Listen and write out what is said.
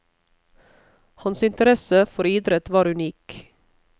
Hans interesse for idrett var unik.